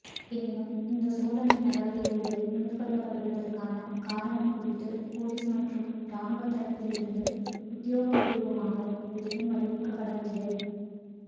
எனினும் இந்தச் சோதனை நடவடிக்கைகள் மேற்கொள்ளப்படுவதற்கான காரணம் குறித்து பொலிஸ் மற்றும் இராணுவ தரப்பிலிருந்து உத்தியோகபூர்வமாக எதுவும் அறிவிக்கப்படவில்லை